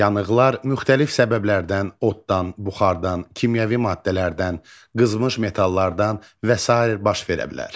Yanıqlar müxtəlif səbəblərdən oddan, buxardan, kimyəvi maddələrdən, qızmış metallardan və sair baş verə bilər.